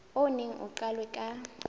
o neng o qalwe ka